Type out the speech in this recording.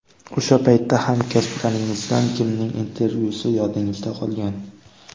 O‘sha paytda hamkasblaringizdan kimning intervyusi yodingizda qolgan?